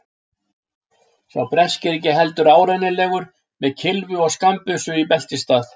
Sá breski ekki heldur árennilegur, með kylfu og skammbyssu í beltisstað.